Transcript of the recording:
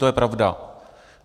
To je pravda.